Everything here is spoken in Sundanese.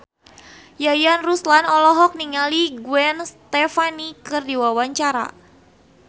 Yayan Ruhlan olohok ningali Gwen Stefani keur diwawancara